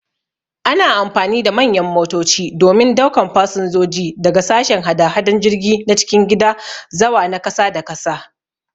Ana amfani da manyan motoci domin daukan fasinjoji daga sashen hada-hadan jirgi na cikin gida zawa na kasa da kasa.